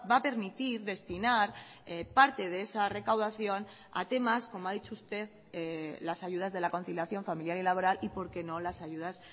a permitir destinar parte de esa recaudación a temas como ha dicho usted las ayudas de la conciliación familiar y laboral y por qué no las ayudas